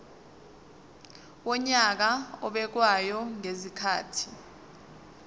wonyaka obekwayo ngezikhathi